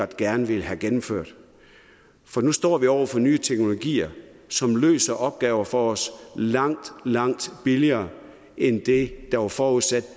gerne ville have gennemført for nu står vi over for nye teknologier som løser opgaver for os langt langt billigere end det der var forudsat